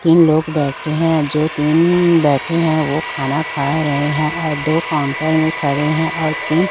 तीन लोग बैठे हैं जो तीन बैठे हैं वो खाना खा रहे हैं और दो काउंटर में खड़े हैं और तीन--